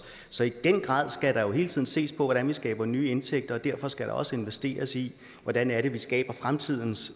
så i den grad skal der jo hele tiden ses på hvordan vi skaber nye indtægter og derfor skal der også investeres i hvordan det er vi skaber fremtidens